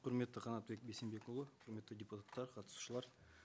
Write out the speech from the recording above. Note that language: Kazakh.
құрметті қанатбек бейсенбекұлы құрметті депутаттар қатысушылар